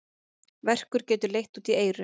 Verkur getur leitt út í eyru.